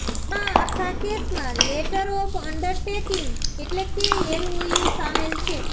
આ આખા કેસમાં લેટર ઓફ અંડરટેકિંગ એટલે કે એલઓયુ સામેલ છે